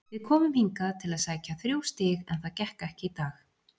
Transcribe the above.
Við komum hingað til að sækja þrjú stig en það gekk ekki í dag.